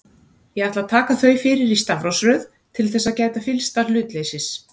Ég ætla að taka þau fyrir í stafrófsröð til þess að gæta fyllsta hlutleysis.